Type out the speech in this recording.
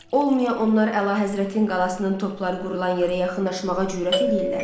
Olmaya onlar Əlahəzrətin qalasının topları qurulan yerə yaxınlaşmağa cürət eləyirlər?